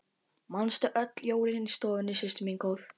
Manstu öll jólin í stofunni systir mín góð.